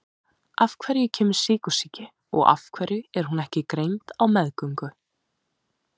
Af hverju kemur sykursýki og af hverju er hún ekki greind á meðgöngu?